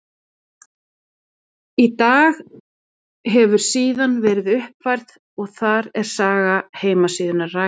Í dag hefur síðan verið uppfærð og þar er saga heimasíðunnar rakin.